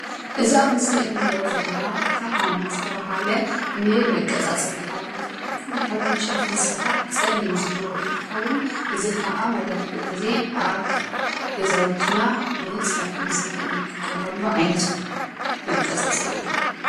እዚ ኣብ ምስሊ ንሪኦ ዘለና ፍሓም ዝተብሃለ ንመቃፃፀሊ ሓዊ ዝጠቅም ካብ ዕንጨይቲ ዝስራሕ ፀሊም ዝሕብሩ እንትከዉን እዚ ክዓ መብዛሕቲኡ ግዜ ኣብ ገዛውቲና ንፀብሒ ንመስርሒ ንጥቀመሉ ዓይነት መቃፃፀሊ እዩ፡፡